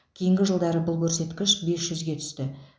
кейінгі жылдары бұл көрсеткіш бес жүзге түсті